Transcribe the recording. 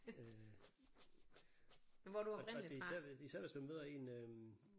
Øh og det er især især hvis man møder en øh